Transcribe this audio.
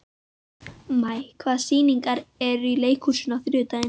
Maj, hvaða sýningar eru í leikhúsinu á þriðjudaginn?